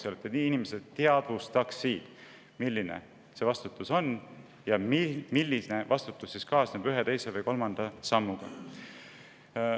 Et inimesed, milline vastutus see on, milline vastutus kaasneb ühe, teise või kolmanda sammuga.